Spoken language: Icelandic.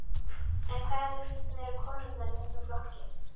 En hvar eru konurnar í þessum flokki?